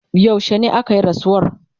yaushene akayi rasuwar?